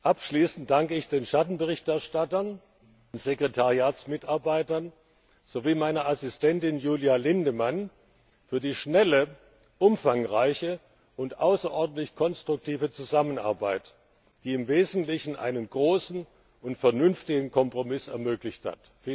Abschließend danke ich den Schattenberichterstattern, den Sekretariatsmitarbeitern sowie meiner Assistentin, Julia Lindemann, für die schnelle, umfangreiche und außerordentlich konstruktive Zusammenarbeit, die im Wesentlichen einen großen und vernünftigen Kompromiss ermöglicht hat.